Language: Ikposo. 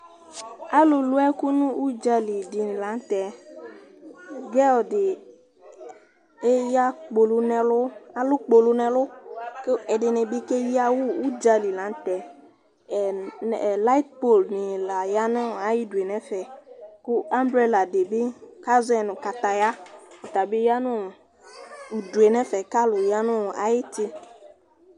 Alu lu ɛku nu udza li di la nu tɛ girls di eya kpolu nu ɛlu, alu kpolu nu ɛlu, ku ɛdini bi ke yi awu, udza li la nu tɛ, ɛ, lightpol ni la ya nu ayi due nɛ fɛ, ku alu ɛla di bi ka zɔɛ nu kataya ɔta bi ya nu udue nɛ fɛ ka lu ya nu ayi uti